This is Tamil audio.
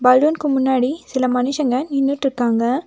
பலூனுக்கு முன்னாடி சில மனுசங்க நின்னுட்டுருக்காங்க.